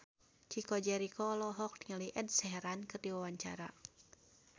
Chico Jericho olohok ningali Ed Sheeran keur diwawancara